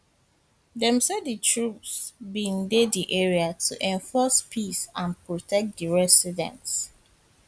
dem say di troops bin dey di area to enforce peace and protect di residents